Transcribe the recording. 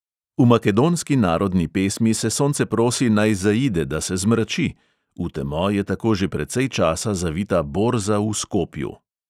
V makedonski narodni pesmi se sonce prosi, naj zaide, da se zmrači, v temo je tako že precej časa zavita borza v skopju.